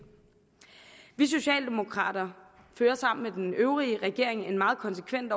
vi socialdemokrater fører sammen med den øvrige regering en meget konsekvent